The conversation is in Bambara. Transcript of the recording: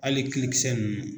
Ali kilikisɛ ninnu.